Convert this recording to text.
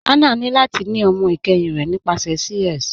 Hannah ni lati ni ọmọ ikẹhin rẹ nípasẹ CS.